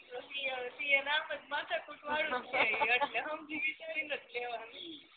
પછી C A માં અમથુ જ માથાકૂટ વાડુ હોય એટલે સમજી વિચારેને જ લેવાનું